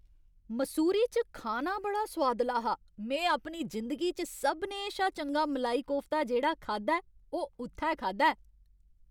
मसूरी च खाना बड़ा सुआदला हा। में अपनी जिंदगी च सभनें शा चंगा मलाई कोफ्ता जेह्ड़ा खाद्धा ऐ ओह् उत्थै खाद्धा ऐ।